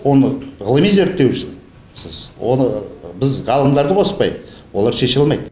оны ғылыми зерттеусіз оны біз ғалымдарды қоспай олар шеше алмайды